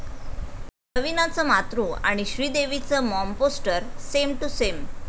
रवीनाचं 'मातृ' आणि श्रीदेवीचं 'Mom' poster same to same!